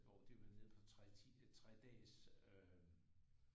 Hvor de var nede på 3 3 dages øh